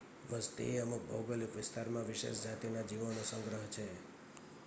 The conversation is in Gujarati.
વસ્તી એ અમુક ભૌગોલિક વિસ્તારમાં વિશેષ જાતિના જીવોનો સંગ્રહ છે